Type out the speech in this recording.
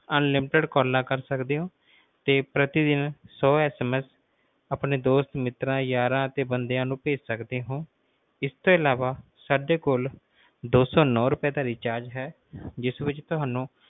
ਛੱਲਾਂ ਕਰ ਸਕਦੇ ਹੋ ਤੇ ਪ੍ਰਤੀ ਦਿਨ ਸੌ SMS ਆਪਣੇ ਦੋਸਤਾਂ ਯਾਰਾਂ ਮਿੱਤਰਾਂ ਅਤੇ ਬੰਦਿਆਂ ਨੂੰ ਭੇਜ ਸਕਦੇ ਹੋ ਇਸ ਤੋਂ ਅਲਾਵਾ ਸਾਡੇ ਕੋਲ ਦੋ ਸੌ ਨਾਉ ਰੁਪਏ ਦਾ recharge ਹੈ ਜਿਸ ਵਿਚ ਤੁਹਾਨੂੰ